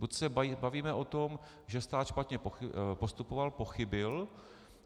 Buď se bavíme o tom, že stát špatně postupoval, pochybil.